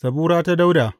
Zabura ta Dawuda.